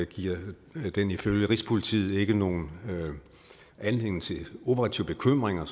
giver den ifølge rigspolitiet ikke nogen anledning til operative bekymringer